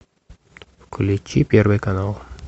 включи первый канал